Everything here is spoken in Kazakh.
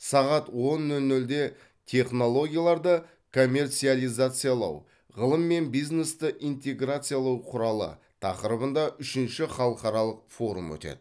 сағат он нөл нөлде технологияларды коммерциализациялау ғылым мен бизнесті интеграциялау құралы тақырыбында үшінші халықаралық форум өтеді